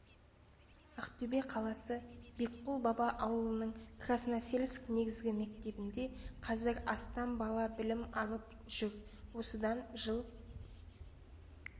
ақтөбе қаласы бекқұл баба ауылының красносельск негізгі мектебінде қазір астам бала білім алып жүр осыдан жыл